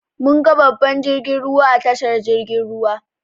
Mun ga babban jirgin ruwa a tashar jirgin ruwa.